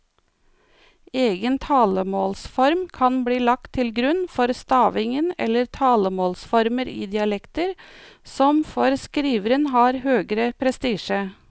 Egen talemålsform kan bli lagt til grunn for stavingen eller talemålsformer i dialekter som for skriveren har høgere prestisje.